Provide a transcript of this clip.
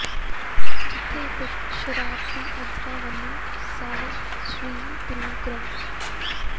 ਜਿਥੇ ਕੁਝ ਸ਼ਰਾਰਤੀ ਅਨਸਰਾਂ ਵੱਲੋਂ ਸਾਹਿਬ ਸ੍ਰੀ ਗੁਰੂ ਗ੍ਰੰਥ